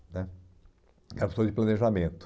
né, era professor de planejamento.